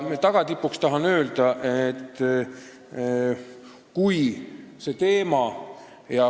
Tagatipuks tahan veel üht öelda.